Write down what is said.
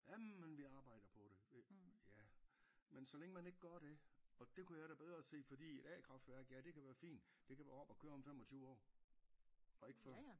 Jamen vi arbejder på det ja men så længe man ikke gør det og det kunne jeg da bedre se fordi et a-kraftværk ja det kan være fint det kan være op at køre om 25 år og ikke før